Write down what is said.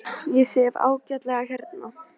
Ég sef ágætlega hérna.